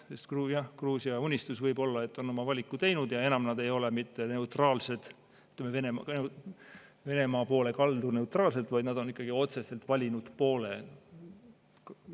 Sest Gruusia Unistus võib-olla on oma valiku teinud ja enam nad ei ole mitte neutraalsed, ütleme, Venemaa poole kaldu neutraalsed, vaid nad on ikkagi otseselt valinud poole.